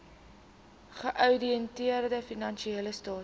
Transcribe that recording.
geouditeerde finansiële state